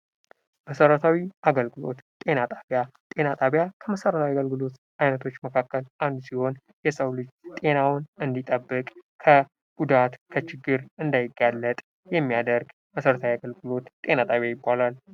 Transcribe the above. መሰረታዊ አገልግሎት ጤና ጣቢያ ጤና ጣቢያ ከመሰረታዊ አገልግሎት መካከል አንዱ ሲሆን የሰው ልጅ ጤናዉን እንዲጠብቅ ከጉዳት ከችግር እንዳይጋለጥ የሚያደርግ መሰረታዊ አገልግሎት ጤና ጣቢያ ይባላል።